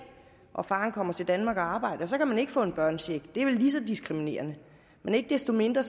og faren kommer til danmark og arbejder så kan man ikke få en børnecheck det er vel lige så diskriminerende men ikke desto mindre